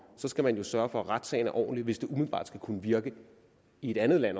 så skal man jo sørge for at retssagen er ordentlig hvis det umiddelbart også skal kunne virke i et andet land